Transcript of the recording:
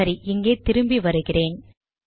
சரி இங்கே திரும்பி வருகிறேன்